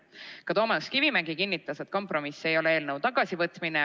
Ka Toomas Kivimägi kinnitas, et kompromiss ei ole eelnõu tagasivõtmine.